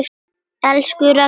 Elsku Ragna.